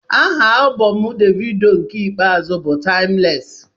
Aha alụbọm davido nke ikpeazụ bụ timulesi